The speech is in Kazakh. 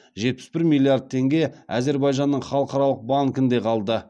жетпіс бір миллиард теңге әзербайжанның халықаралық банкінде қалды